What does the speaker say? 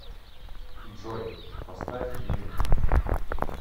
джой поставь ню